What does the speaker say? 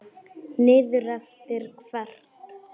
Niður eftir hvert?